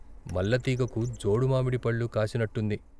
మల్లె తీగకు జోడు మామిడి పళ్ళు కాసినట్టుంది.